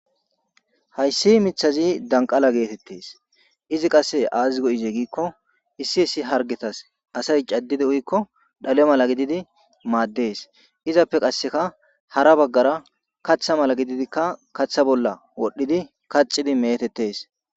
Hayssi mithazi danqala geetettes izi qasse aazigo7ize giikko issi issi hargetas asay caddidi uykko dhale mala gididi maaddes izappe qasseka hara baggara kaththa mala gididikka kaththa bolla wodhdhidi kacidi metettes.